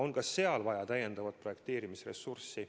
Aga ka seal on vaja täiendavat projekteerimisressurssi.